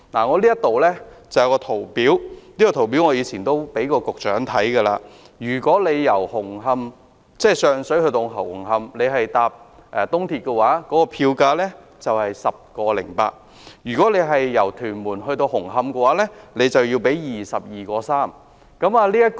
我手上有一份圖表——我過往亦曾給局長看過——乘搭東鐵綫由上水到紅磡的票價是 10.8 元，但由屯門到紅磡則要支付 22.3 元。